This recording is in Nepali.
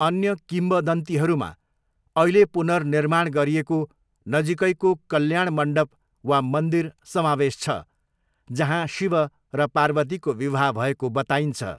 अन्य किंवदन्तीहरूमा अहिले पुनर्निर्माण गरिएको नजिकैको कल्याणमन्डप वा मन्दिर समावेश छ, जहाँ शिव र पार्वतीको विवाह भएको बताइन्छ।